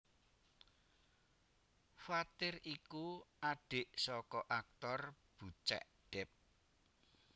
Fathir iku adhik saka aktor Bucek Depp